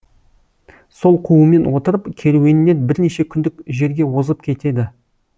сол қуумен отырып керуеннен бірнеше күндік жерге озып кетеді